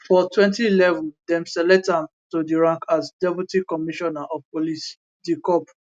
for 2011 dem select am to di rank as deputy commissioner of police dcop